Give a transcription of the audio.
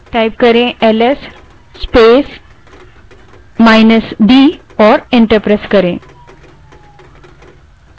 अब ls space minus d type करें और enter दबायें